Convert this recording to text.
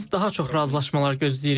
Biz daha çox razılaşmalar gözləyirik.